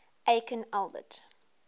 aikin albert